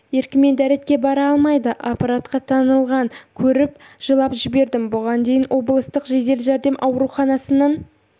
еркімен дәретке бара алмайды аппаратқа таңылған көріп жылап жібердім бұған дейін облыстық жедел жәрдем ауруханасының